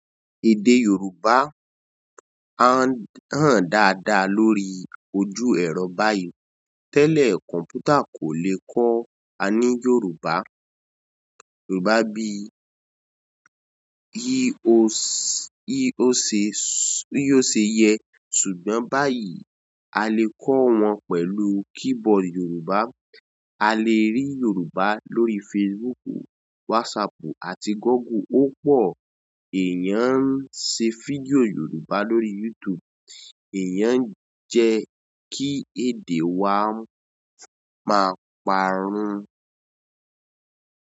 Èdè Yorùbá háǹ dáadáa lórí ojú ẹ̀rọ báyìí. Tẹlẹ komputa ko le kọ aní Yorùbá bí o se yẹ ṣùgbọ́n báyìí a lè kọ́ wọn pẹ̀lú keyboard Yorùbá. A lè rí Yorùbá lórí Facebooku, WhatsAppù àti Google. Ó pọ̀ èèyàn ń se fídíò Yorùbá lórí YouTube. Èèyàn ń jẹ́ kí èdè wa máa parun.